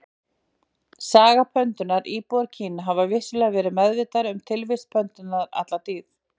Saga pöndunnar Íbúar Kína hafa vissulega verið meðvitaðir um tilvist pöndunnar alla tíð.